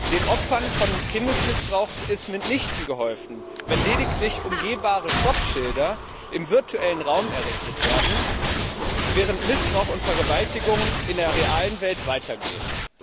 Den Opfern von Kindesmissbrauch ist mitnichten geholfen, wenn lediglich umgehbare Stoppschilder im virtuellen Raum errichtet werden, während Missbrauch und Vergewaltigung in der realen Welt weitergehen.